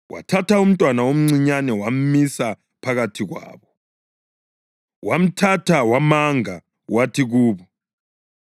Wathatha umntwana omncinyane wamisa phakathi kwabo. Wamthatha wamanga wathi kubo,